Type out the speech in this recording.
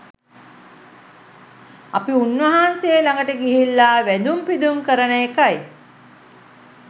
අපි උන්වහන්සේ ළඟට ගිහිල්ලා වැඳුම් පිදුම් කරන එකයි